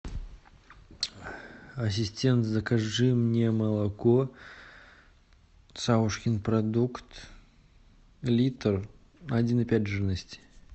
ассистент закажи мне молоко савушкин продукт литр один и пять жирности